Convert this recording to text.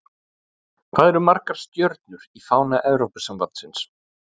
Hvað eru margar stjörnur í fána Evrópusambandsins?